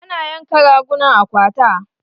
Ana yanka raguna a kwata